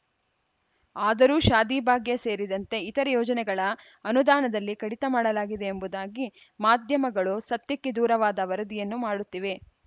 ಆದರೂ ಶಾದಿಭಾಗ್ಯ ಸೇರಿದಂತೆ ಇತರೆ ಯೋಜನೆಗಳ ಅನುದಾನದಲ್ಲಿ ಕಡಿತ ಮಾಡಲಾಗಿದೆ ಎಂಬುದಾಗಿ ಮಾಧ್ಯಮಗಳು ಸತ್ಯಕ್ಕೆ ದೂರವಾದ ವರದಿಯನ್ನು ಮಾಡುತ್ತಿವೆ